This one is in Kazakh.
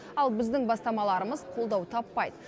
ал біздің бастамаларымыз қолдау таппайды